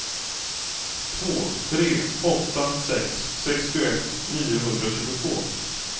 två tre åtta sex sextioett niohundratjugotvå